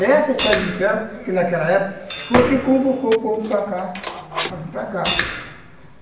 Essa estrada de ferro, que naquela época foi o que convocou o povo para cá, para vir para cá.